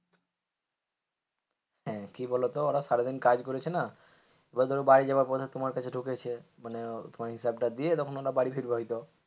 হ্যাঁ কি বলতো সারাদিন কাজ করেছে না এবার ধরে বাড়ি যাওয়ার পথে তোমার তোমার কাছে ঢুকেছে মানে তোমার হিসাবটা দিয়ে তখন ওরা বাড়ি ফিরবে হয়তো,